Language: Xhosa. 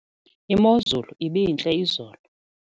Imozulu ibintle izolo.